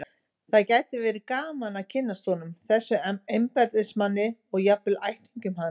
Það gæti verið gaman að kynnast honum, þessum embættismanni, og jafnvel ættingjum hans.